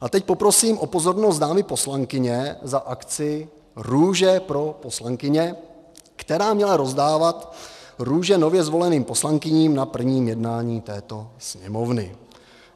A teď poprosím o pozornost dámy poslankyně: za akci Růže pro poslankyně, která měla rozdávat růže nově zvoleným poslankyním na prvním jednání této Sněmovny.